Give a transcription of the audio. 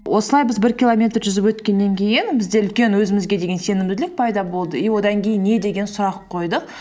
осылай біз бір километр жүзіп өткеннен кейін бізде үлкен өзімізге деген сенімділік пайда болды и одан кейін не деген сұрақ қойдық